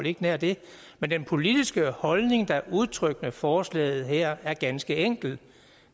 ikke nær det men den politiske holdning der er udtrykt med forslaget her er ganske enkel